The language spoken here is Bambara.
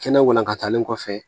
Kɛnɛ walankatalen kɔfɛ